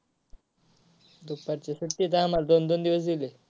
दुपारच्या सुट्टीत आम्हाला दोन दोन दिवस दिलेत.